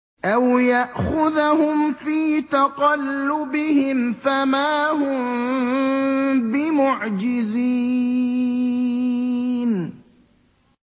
أَوْ يَأْخُذَهُمْ فِي تَقَلُّبِهِمْ فَمَا هُم بِمُعْجِزِينَ